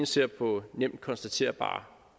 ser på nemt konstaterbare